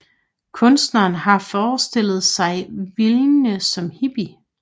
Kunstneren har forestillet sig Vinje som hippie